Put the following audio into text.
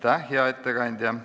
Aitäh, hea ettekandja!